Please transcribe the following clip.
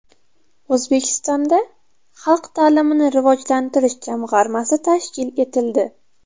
O‘zbekistonda xalq ta’limini rivojlantirish jamg‘armasi tashkil etildi.